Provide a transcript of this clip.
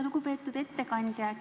Lugupeetud ettekandja!